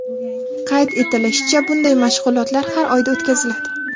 Qayd etilishicha, bunday mashg‘ulotlar har oyda o‘tkaziladi.